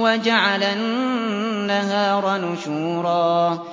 وَجَعَلَ النَّهَارَ نُشُورًا